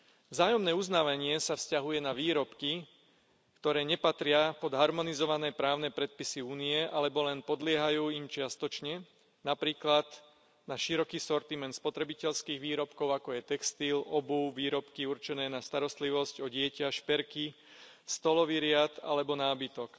Vzájomné uznávanie sa vzťahuje na výrobky, ktoré nepatria pod harmonizované právne predpisy Únie alebo im len čiastočne podliehajú, napríklad na široký sortiment spotrebiteľských výrobkov, ako je textil, obuv, výrobky určené na starostlivosť o dieťa, šperky, stolový riad alebo nábytok.